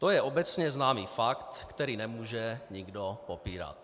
To je obecně známý fakt, který nemůže nikdo popírat.